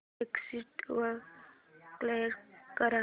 exit वर click कर